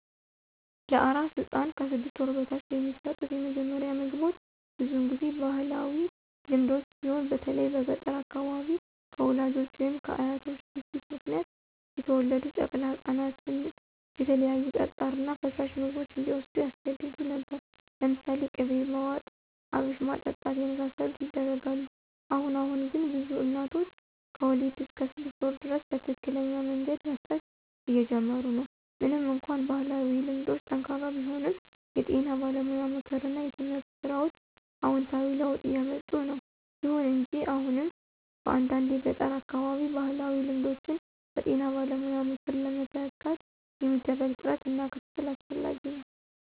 ለአራስ ሕፃን (ከ 6 ወር በታች) የሚሰጡት የመጀመሪያ ምግቦች ብዙውን ጊዜ በባህላዊ ልማዶች ሲሆን በተለይም በገጠር አካባቢዎች፣ ከወላጆች ወይም ከአያቶች ግፊት ምክንያት የተወለዱ ጨቅላ ህፃናትን የተለያዩ ጠጣር እና ፈሳሽ ምግቦች እንዲዎስዱ ያስገድዱ ነበር። ለምሳሌ ቅቤ ማዋጥ፣ አብሽ ማጠጣት የመሳሰሉት ይደረጋል። አሁን አሁን ግን ብዙ እናቶች ከወሊድ እስከ 6 ወር ድረስ በትክክለኛ መንገድ መስጠት እየጀመሩ ነው። ምንም እንኳን ባህላዊ ልማዶች ጠንካራ ቢሆኑም፣ የጤና ባለሙያ ምክር እና የትምህርት ሥራዎች አዎንታዊ ለውጥ እያምጡ ነው። ይሁን እንጂ አሁንም በአንዳንድ የገጠር አካባቢዎች ባህላዊ ልማዶችን በጤና ባለሙያ ምክር ለመተካት የሚደረግ ጥረት እና ክትትል አስፈላጊ ነው።